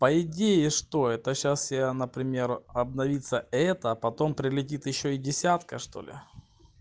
по идее что это сейчас я например обновится это а потом прилетит ещё и десятка что ли